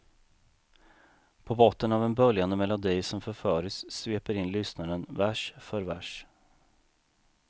På en botten av en böljande melodi som förföriskt sveper in lyssnaren vers för vers.